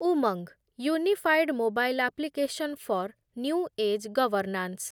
Umang, unified mobile application for new age governance